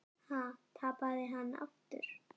Ha, tapaði hann aftur?